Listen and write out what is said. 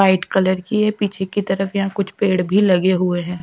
White colour की है पीछे की तरफ यहां कुछ पेड़ भी लगे हुए हैं।